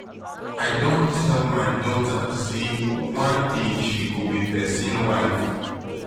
i don tell my dota sey one day she go be pesin wife.